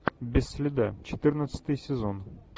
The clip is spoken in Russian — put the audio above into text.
без следа четырнадцатый сезон